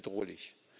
Es ist bedrohlich.